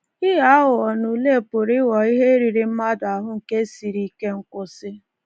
Ịghọ aghụghọ n’ule pụrụ ịghọ ihe riri mmadụ ahụ nke siri ike nkwụsị.